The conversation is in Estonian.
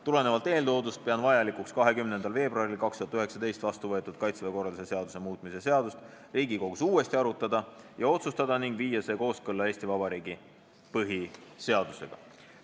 Tulenevalt eeltoodust pean vajalikuks 20. veebruaril 2019 vastu võetud "Kaitseväe korralduse seaduse muutmise seadust" Riigikogus uuesti arutada ja otsustada ning viia see kooskõlla Eesti Vabariigi põhiseadusega.